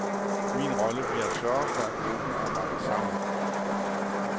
Min rolle bliver at sørge for, at gruppen arbejder sammen.